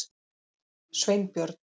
Sveinbjörn